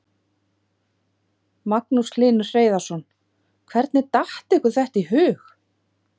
Magnús Hlynur Hreiðarsson: Hvernig datt ykkur þetta í hug?